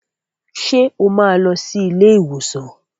Ṣé o máa lọ sí ilé ìwòsàn